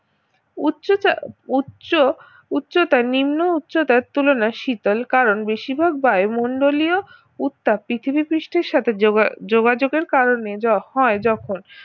উচ্চতা উচ্চ উচ্চতা নিম্ন উচ্চতার তুলনায় শীতল কারণ বেশিরভাগ বায়ুমণ্ডলীয় উত্তাপ পৃথিবীপৃষ্ঠের সাথে যোগা~ যোগাযোগের কারণে যা হয় যখন